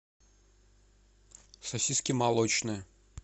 сосиски молочные